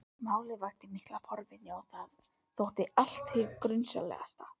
Málið vakti mikla forvitni og þótti allt hið grunsamlegasta.